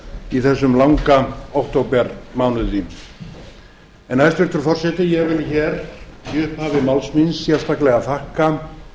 í þessum langa októbermánuði en hæstvirtur forseti ég vil hér í upphafi máls míns sérstaklega þakka